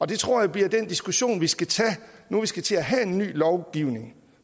det tror jeg bliver den diskussion vi skal tage nu vi skal til at have en ny lovgivning